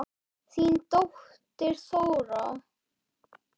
Þín dóttir, Þóra.